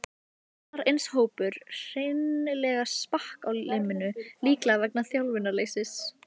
Annar eins hópur hreinlega sprakk á limminu, líklega vegna þjálfunarleysis.